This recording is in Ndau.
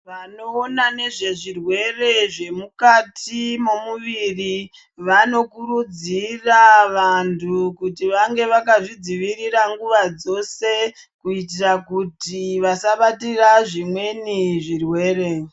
Vanoona nezvezvirwere zvemukati momuviri vanokurudzira vantu kuti vange vakazvidzivirira nguva dzose kuitira kuti vasabatira zvimweni zvirwere.